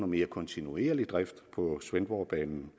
mere kontinuerlig drift på svendborgbanen